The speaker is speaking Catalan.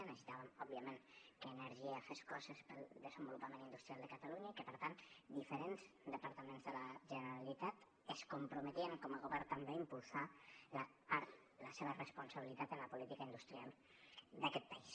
necessitàvem òbviament que energia fes coses pel desenvolupament industrial de catalunya i que per tant diferents departaments de la generalitat es comprometien com a govern també a impulsar la part de la seva responsabilitat en la política industrial d’aquest país